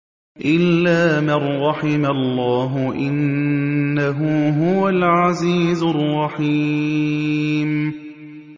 إِلَّا مَن رَّحِمَ اللَّهُ ۚ إِنَّهُ هُوَ الْعَزِيزُ الرَّحِيمُ